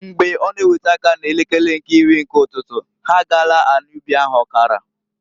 Mgbe ọ na ewete aka n'elekere nke iri nke ụtụtụ, ha agaala anị ubi ahụ ọkara.